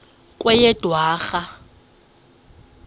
kweyedwarha